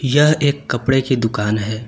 यह एक कपड़े कि दुकान है।